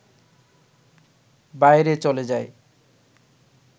বাইরে চলে যায়